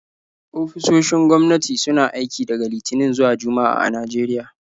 Ofisoshin gwamnati suna aiki daga Litinin zuwa Juma'a a Najeriya.